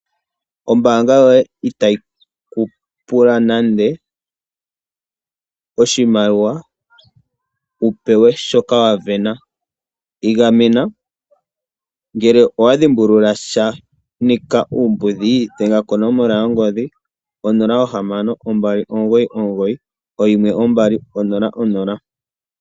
Ombaanga yoye itayi ku pula nande oshimaliwa wu pewe shoka wa vena. Igamena, ngele owa dhimbulula sha shanika uumbudhi dhenga konomola yongodhi onola ohamano, ombali omugoyi, omugoyi , oyimwe ombali, onola nonola.